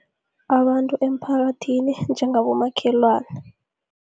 Abantu emphakathini njengabomakhelwana.